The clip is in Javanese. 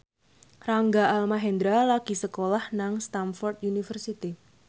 Rangga Almahendra lagi sekolah nang Stamford University